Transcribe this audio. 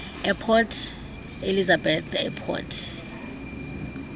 eport elizabeth airport